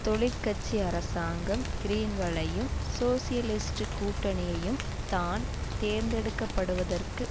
தொழிற்கட்சி அரசாங்கம் கிரீன்களையும் சோசியலிஸ்ட் கூட்டணியையும் தான் தேர்ந்தெடுக்க படுவதற்கு